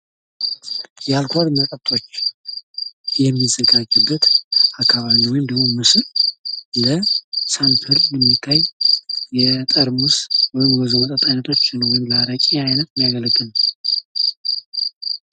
የአልኮል መጠጦች የሚዘጋጁበት አካባቢ ነው። ወይም ይህ ምስል ለሳፕል የሚታይ ለውዞ መጠጦች ወይም ለአረቂ አይነትየሚያገለግል ነው።